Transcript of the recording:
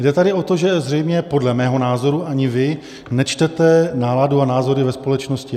Jde tady o to, že zřejmě podle mého názoru ani vy nečtete náladu a názory ve společnosti.